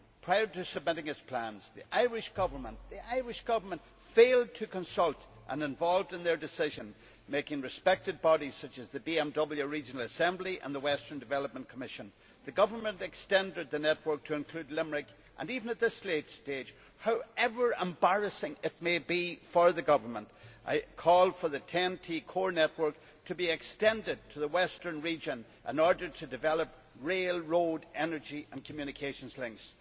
Prior to submitting its plans, the Irish Government failed to consult or involve in their decision making respected bodies such as the BMW Regional Assembly and the Western Development Commission. The government has extended the network to include Limerick, and now, even at this late stage and however embarrassing it may be for the government, I call for the TEN T core network to be extended to the western region in order to develop rail, road, energy and communications links.